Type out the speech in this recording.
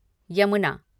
Yamuna